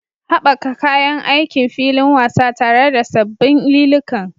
Haɓaka kayan aikin filin wasa tare da sabbin liliukan.